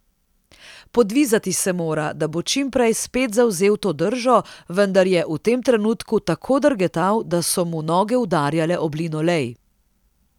Podvizati se mora, da bo čim prej spet zavzel to držo, vendar je v tem trenutku tako drgetal, da so mu noge udarjale ob linolej.